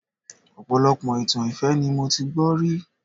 Ọpọlọpọ itan ìfẹ́ ni mo ti gbọ́ rí